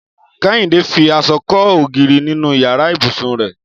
Kẹ́hìndé fi aṣọ kọ́ ògiri nínú yàrá ibùsùn rẹ̀